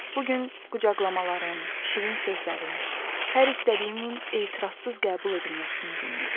Bu gün qucaqlamaların, şirin sözlərin, hər istədiyimin etirassız qəbul edilməsinin günü idi.